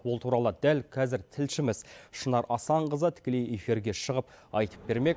ол туралы дәл қазір тілшіміз шынар асанқызы тікелей эфирге шығып айтып бермек